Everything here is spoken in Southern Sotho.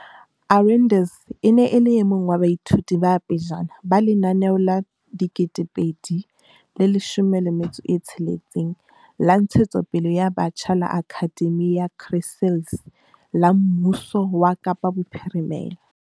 Arendse e ne e le e mong wa baithuti ba pejana ba lenaneo la 2016 la ntshetsopele ya batjha la Akhademi ya Chrysalis la mmuso wa Kapa Bophirimela.